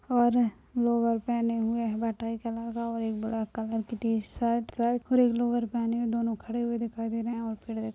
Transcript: और लोवर पहने हुए है भाटाई कलर का और एक ब्लैक कलर की टी सर्ट सर्ट और एक लोवर पहने हुए दोनों खड़े हुए दिखाई दे रहे है आउटफिट दे --